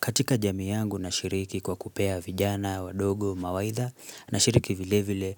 Katika jami yangu na shiriki kwa kupea vijana wadogo mawaidha, nashiriki vile vile